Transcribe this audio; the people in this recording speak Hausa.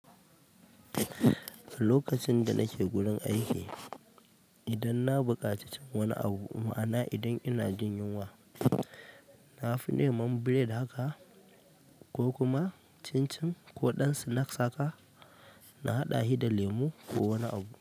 Lokacin danake gurin aiki idan na buƙaci cin wani abu ma'ana idan ina jin yinwa nafi neman bread haka ko kuma cin cin ko ɗan snacks na haɗa shi da lemo ko wani abu.